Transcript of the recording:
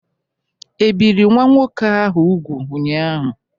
E biri nwa nwoke ahụ úgwù ụnyaahụ?